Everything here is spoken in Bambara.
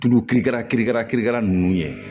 Tulu kirikara kirikara kirikara ninnu ye